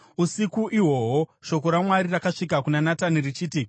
Usiku ihwohwo shoko raMwari rakasvika kuna Natani richiti: